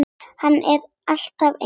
Hann er alltaf eins.